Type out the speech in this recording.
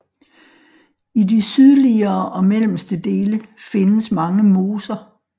I de sydliggere og mellemste dele findes mange moser